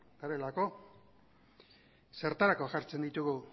garelako zertarako jartzen ditugu